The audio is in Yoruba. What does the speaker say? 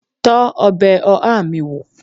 Tọ́ ọbẹ̀ oha mi wó!